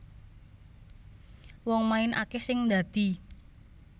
Wong main akeh sing ndadi